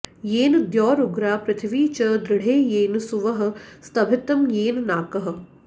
येन॒ द्यौरु॒ग्रा पृ॑थि॒वी च॑ दृ॒ढे येन॒ सुवः॑ स्तभि॒तं येन॒ नाकः॑